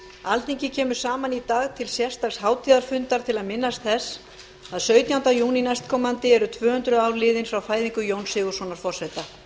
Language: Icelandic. alþingi kemur saman í dag til sérstaks hátíðarfundar til að minnast þess að sautjánda júní næstkomandi eru tvö hundruð ár liðin frá fæðingu jóns sigurðssonar forseta